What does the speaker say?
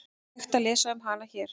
Hægt að lesa um hana hér.